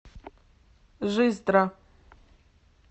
жиздра